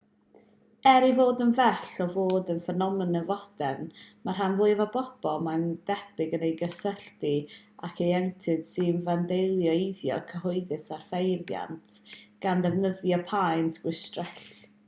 er ei fod yn bell o fod yn ffenomen fodern mae'r rhan fwyaf o bobl mae'n debyg yn ei gysylltu ag ieuenctid sy'n fandaleiddio eiddo cyhoeddus a phreifat gan ddefnyddio paent chwistrell